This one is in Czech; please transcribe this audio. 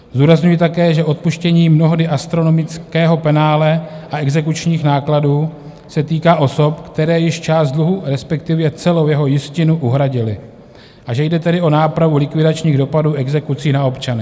Zdůrazňuji také, že odpuštění mnohdy astronomického penále a exekučních nákladů se týká osob, které již část dluhu, respektive celou jeho jistinu, uhradily, a že jde tedy o nápravu likvidačních dopadů exekucí na občany.